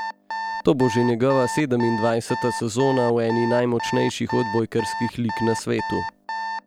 To bo že njegova sedemindvajseta sezona v eni najmočnejših odbojkarskih lig na svetu.